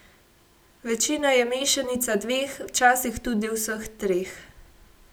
Večina je mešanica dveh, včasih tudi vseh treh.